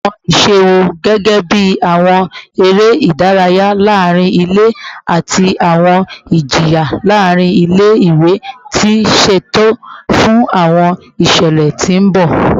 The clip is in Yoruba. Awọn iṣẹ wo, gẹgẹbi awọn ere idaraya laarin ile ati awọn ijiyan laarin ile-iwe, ti ṣeto fun awọn iṣẹlẹ ti n bọ?